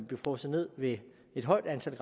blive frosset ned ved et højt antal